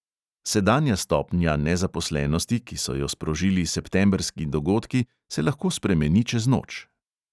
Sedanja stopnja nezaposlenosti, ki so jo sprožili septembrski dogodki, se lahko spremeni čez noč.